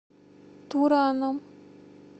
тураном